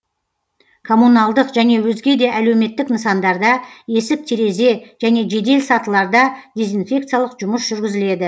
коммуналдық және өзге де әлеуметтік нысандарда есік терезе және жедел сатыларда дезинфекциялық жұмыс жүргізіледі